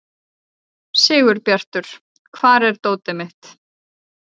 Sigurbjartur, hvar er dótið mitt?